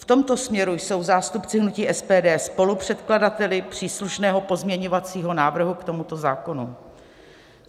V tomto směru jsou zástupci hnutí SPD spolupředkladateli příslušného pozměňovacího návrhu k tomuto zákonu.